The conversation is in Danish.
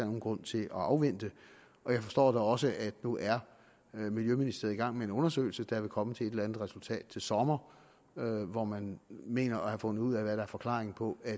nogen grund til at afvente og jeg forstår da også at nu er miljøministeriet i gang med en undersøgelse der vil komme frem til et eller andet resultat til sommer hvor man mener at have fundet ud af hvad der er forklaringen på at